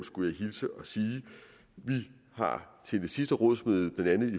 skulle jeg hilse og sige vi har til det sidste rådsmøde blandt andet